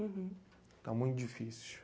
Está muito difícil.